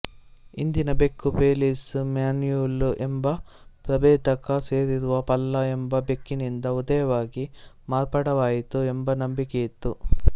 ಇಂದಿನ ಬೆಕ್ಕು Felis manul ಎಂಬ ಪ್ರಭೇದಕ್ಕೆ ಸೇರಿರುವ ಪಲ್ಲ ಎಂಬ ಬೆಕ್ಕಿನಿಂದ ಉದಯವಾಗಿ ಮಾರ್ಪಾಡಾಯಿತು ಎಂಬ ನಂಬಿಕೆಯಿತ್ತು